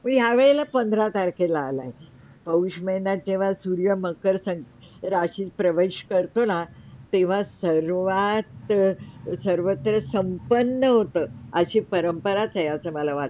या वेळीला पंधरा तारखेला आलाय पौष माहिन्यात जेव्हा सूर्य मकर संक राशीत प्रवेश करतो ना तेव्हा सर्वात, सर्वत्र संपन्न होतं. आशी परंपराच आहे असं मला वाटतं